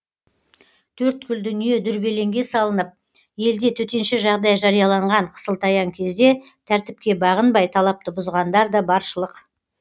төрткүл дүние дүрбелеңге салынып елде төтенше жағдай жарияланған қысылтаяң кезде тәртіпке бағынбай талапты бұзғандар да баршылық